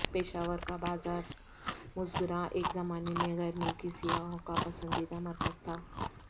پشاور کا بازار مسگراں ایک زمانے میں غیر ملکی سیاحوں کا پسندیدہ مرکز تھا